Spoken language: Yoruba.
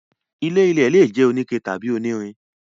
ilé-ilẹ̀ lè jẹ́ oníke tàbí onírin.